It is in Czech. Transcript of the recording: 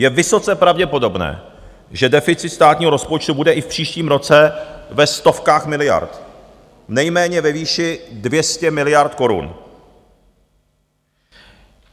Je vysoce pravděpodobné, že deficit státního rozpočtu bude i v příštím roce ve stovkách miliard, nejméně ve výši 200 miliard korun.